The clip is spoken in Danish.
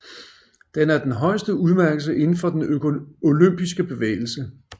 Den er den højeste udmærkelse indenfor den olympiske bevægelse